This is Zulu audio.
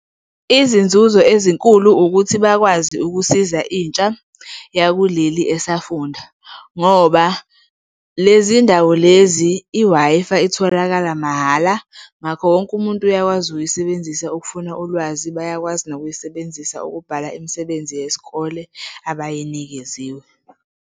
Izinzuzo ezinkulu ukuthi bakwazi ukusiza intsha yakuleli esafunda, ngoba lezindawo lezi i-Wi-Fi itholakala mahhala. Ngakho wonke umuntu uyakwazi ukuyisebenzisa ukufuna ulwazi. Bayakwazi nokuyisebenzisa ukubhala imisebenzi yesikole abayinikeziwe.